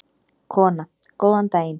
Kona: Góðan daginn.